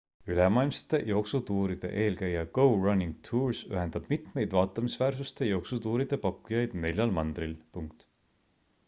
ülemaailmsete jooksutuuride eelkäija go running tours ühendab mitmeid vaatamisväärsuste jooksutuuride pakkujaid neljal mandril